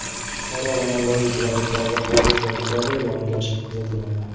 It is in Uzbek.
Buxoro va Navoiy viloyatlarida havo o‘zgarib turadi, yog‘ingarchilik kuzatilmaydi.